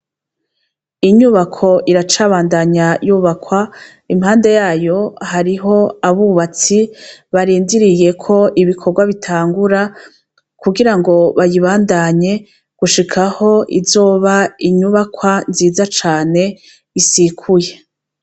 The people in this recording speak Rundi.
Inyubako iracabandanya yubakwa impande yayo hariho abubatsi barindiriye ko ibikorwa bitangura kugira ngo bayibandanye gushika aho izoba inyubakwa nziza cane isikuye.